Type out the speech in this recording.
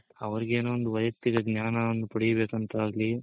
ಅವ್ರ್ಗೆನು ಒಂದ್ ವ್ಯಯಕ್ತಿಕ ಜ್ಞಾನವನ್ನ ಪಡಿಬೇಕ್ ಅಂತಾಗ್ಲಿ